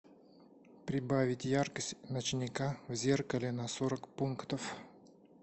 прибавить яркость ночника в зеркале на сорок пунктов